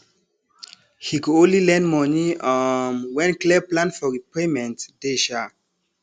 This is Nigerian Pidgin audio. he go only lend money um when clear plan for repayment dey um